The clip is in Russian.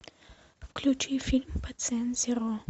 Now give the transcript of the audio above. включи фильм пациент зеро